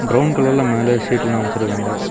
Brown கலர்ல மேல ஷீட்லாம் அமைச்சிருக்காங்க.